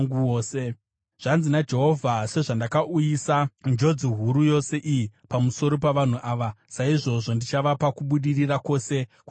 “Zvanzi naJehovha: Sezvandakauyisa njodzi huru yose iyi pamusoro pavanhu ava, saizvozvo ndichavapa kubudirira kwose kwandakavavimbisa.